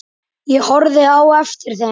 Ég horfði á eftir þeim.